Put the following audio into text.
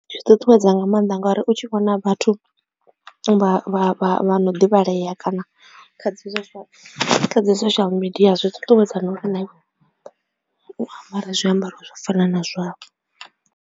Zwi ṱuṱuwedza nga maanḓa ngori u tshi vhona vhathu vha vha vha no ḓivhaleya kana kha dzi social media zwi ṱuṱuwedza na uri na iwe u ambare zwiambaro zwa u fana na zwavho.